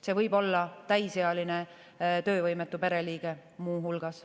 See võib olla täisealine töövõimetu pereliige muu hulgas.